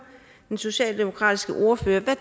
den socialdemokratiske ordfører hvad